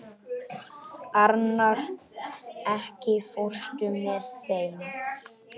Arnar, ekki fórstu með þeim?